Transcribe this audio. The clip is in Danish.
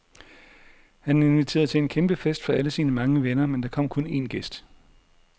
Han inviterede til en kæmpe fest for alle sine mange venner, men der kom kun en gæst.